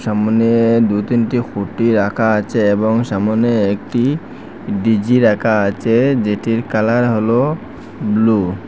সামনে দু তিনটি খুটি রাকা আছে এবং সামোনে একটি ডি_জি রাকা আচে যেটির কালার হলো ব্লু ।